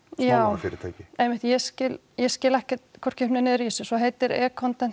smálánafyrirtæki einmitt ég skil ég skil ekkert hvorki upp né niður í þessu svo heitir e